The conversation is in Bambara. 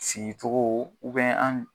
Sigitogo an